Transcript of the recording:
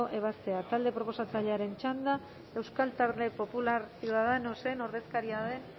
ebazpena taldearen proposatzailearen txanda euskal talde popular ciudadanosen ordezkaria den